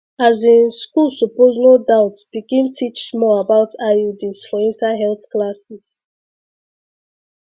asin school suppose no doubt begin teach more about iuds for inside health classes